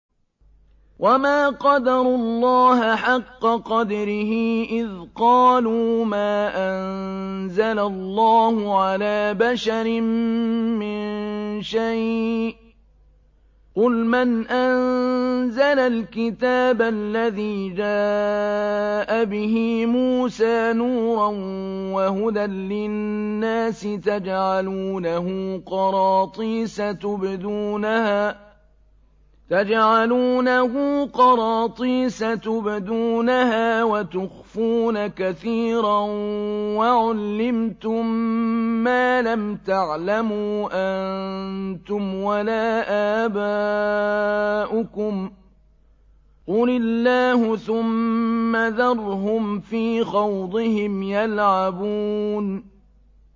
وَمَا قَدَرُوا اللَّهَ حَقَّ قَدْرِهِ إِذْ قَالُوا مَا أَنزَلَ اللَّهُ عَلَىٰ بَشَرٍ مِّن شَيْءٍ ۗ قُلْ مَنْ أَنزَلَ الْكِتَابَ الَّذِي جَاءَ بِهِ مُوسَىٰ نُورًا وَهُدًى لِّلنَّاسِ ۖ تَجْعَلُونَهُ قَرَاطِيسَ تُبْدُونَهَا وَتُخْفُونَ كَثِيرًا ۖ وَعُلِّمْتُم مَّا لَمْ تَعْلَمُوا أَنتُمْ وَلَا آبَاؤُكُمْ ۖ قُلِ اللَّهُ ۖ ثُمَّ ذَرْهُمْ فِي خَوْضِهِمْ يَلْعَبُونَ